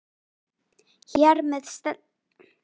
Hér með sleppir staðreyndunum eiginlega.